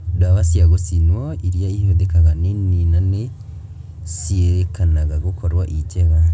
Ndawa cia gũcinwo irĩa ihũthĩkaga nĩ nini na nĩciĩrĩkanaga gũkorwo irĩ njega